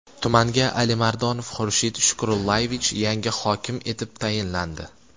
Tumanga Alimardonov Xurshid Shukurullayevich yangi hokim etib tayinlandi.